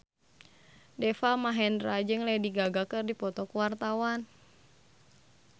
Deva Mahendra jeung Lady Gaga keur dipoto ku wartawan